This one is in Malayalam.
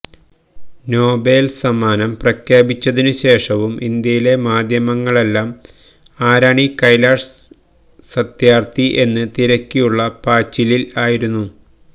നൊബേൽ സമ്മാനം പ്രഖ്യാപിച്ചതിനുശേഷവും ഇന്ത്യയിലെ മാദ്ധ്യമങ്ങളെല്ലാം ആരാണീ കൈലാഷ് സത്യാർഥി എന്ന് തിരക്കിയുള്ള പാച്ചിലിൽ ആയിരുന്നു